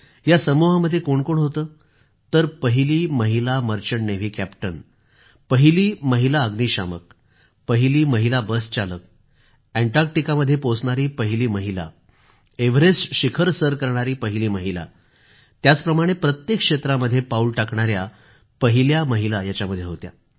या समुहामध्ये कोण कोण होतं तर पहिली महिला मर्चंट नेव्ही कॅप्टन पहिली महिला अग्निशामक पहली महिला बसचालक अंटार्टिकामध्ये पोहोचणारी पहिली महिला एव्हरेस्ट शिखर सर करणारी पहिली महिला याप्रमाणे प्रत्येक क्षेत्रामध्ये पाऊल टाकणाऱ्या पहिल्या महिला होत्या